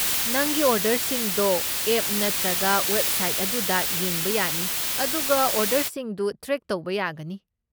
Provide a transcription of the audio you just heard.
ꯅꯪꯒꯤ ꯑꯣꯔꯗꯔꯁꯤꯡꯗꯣ ꯑꯦꯞ ꯅꯠꯇ꯭ꯔꯒ ꯋꯦꯕꯁꯥꯏꯠ ꯑꯗꯨꯗ ꯌꯦꯡꯕ ꯌꯥꯅꯤ ꯑꯗꯨꯒ ꯑꯣꯔꯗꯔꯁꯤꯡꯗꯨ ꯇ꯭ꯔꯦꯛ ꯇꯧꯕ ꯌꯥꯒꯅꯤ꯫